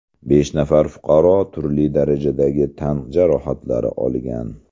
Besh nafar fuqaro turli darajadagi tan jarohatlari olgan.